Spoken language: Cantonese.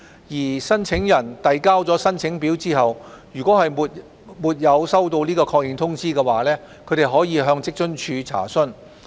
如申請人遞交申請表後沒有收到確認通知，可向職津處查詢。